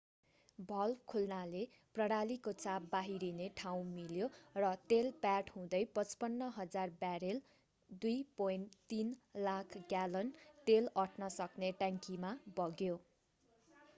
Valve खुल्नाले प्रणालीको चाप बाहिरिने ठाउँ मिल्यो र तेल प्याड हुँदै 55,000 ब्यारेल 2.3 लाख ग्यालन तेल अट्न सक्ने ट्याङ्कीमा बग्यो।